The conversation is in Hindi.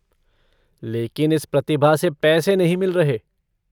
लेकिन इस प्रतिभा से पैसे नहीं मिल रहे।